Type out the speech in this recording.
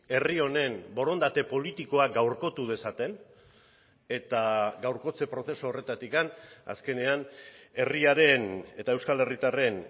herri honen borondate politikoa gaurkotu dezaten eta gaurkotze prozesu horretatik azkenean herriaren eta euskal herritarren